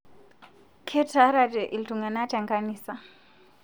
Ketarate ltung'ana tenkanisa